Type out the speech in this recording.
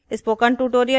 spoken tutorial project team